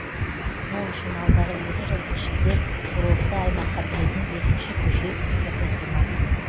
ол үшін алдағы екі жылдың ішінде курортты аймаққа кіретін екінші көше іске қосылмақ